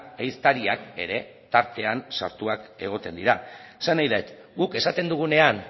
ehiztariak ere tartean sartuak egoten dira esan nahi dut guk esaten dugunean